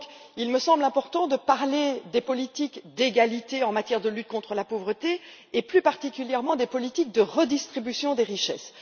Il me semble donc important de parler des politiques d'égalité en matière de lutte contre la pauvreté et, plus particulièrement, des politiques de redistribution des richesses.